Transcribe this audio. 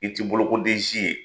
I tɛ bolokoden si ye